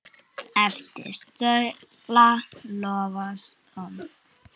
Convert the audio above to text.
eftir Sölva Logason